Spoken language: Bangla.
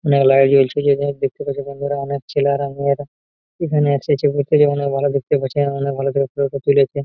মেলার যেয়েছ জিনিস দেখতে পাচ্ছো বন্ধুরা অনেক ছেলারা মেয়েরা এখানে এসেছে ভেতরে অনেক ভালো দেখতে পাচ্ছেন অনেক ভালো করে ছবিটা তুলেছে।